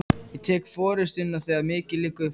Ég tek forystuna, þegar mikið liggur við!